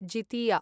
Jitiya